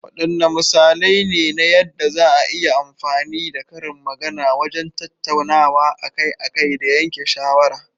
Waɗanne misalai ne na yadda za a iya amfani da karin magana wajen tattaunawa akai-akai da yanke shawara?